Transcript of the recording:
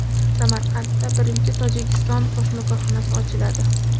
Samarqandda birinchi Tojikiston qo‘shma korxonasi ochiladi.